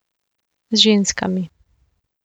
Z ženskami.